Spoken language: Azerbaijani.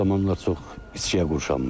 Axır zamanlar çox içkiyə qurşanmışdı.